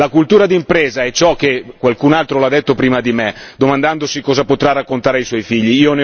La cultura d'impresa è ciò che, qualcun altro l'ha detto prima di me, domandandosi cosa potrà raccontare ai suoi figli.